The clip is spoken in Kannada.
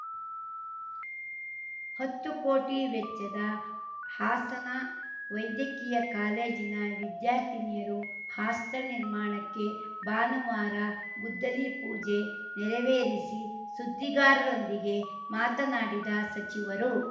ಹತ್ತು ಕೋಟಿ ವೆಚ್ಚದ ಹಾಸನ ವೈದ್ಯಕೀಯ ಕಾಲೇಜಿನ ವಿದ್ಯಾರ್ಥಿನಿಯರು ಹಾಸ್ಟೆಲ್‌ ನಿರ್ಮಾಣಕ್ಕೆ ಭಾನುವಾರ ಗುದ್ದಲಿ ಪೂಜೆ ನೆರವೇರಿಸಿ ಸುದ್ದಿಗಾರರೊಂದಿಗೆ ಮಾತನಾಡಿದ ಸಚಿವರು